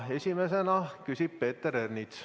Esimesena küsib Peeter Ernits.